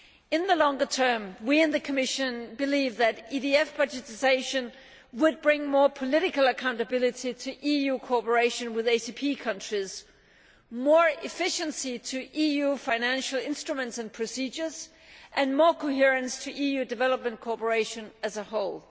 In the long term, we in the Commission believe that EDF budgetisation would bring more political accountability to EU cooperation with ACP countries, more efficiency to EU financial instruments and procedures, and more coherence to EU development cooperation as a whole.